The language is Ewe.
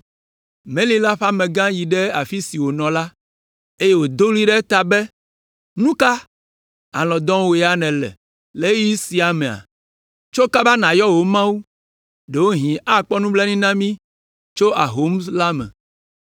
Meli la ƒe amegã yi ɖe afi si wònɔ la, eye wòdo ɣli ɖe eta be, “Nu ka! Alɔ̃ dɔm wò ya nèle le ɣeyiɣi sia mea? Tso kaba nàyɔ wò mawu, ɖewohĩ akpɔ nublanui na mí tso ahom la me!”